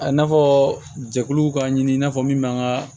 A n'a fɔ jɛkuluw ka ɲini i n'a fɔ min b'an ka